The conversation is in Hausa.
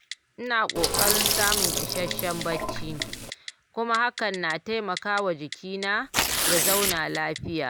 Ina ƙoƙarin samun isasshen bacci kuma hakan na taimaka wa jikina ya zauna lafiya.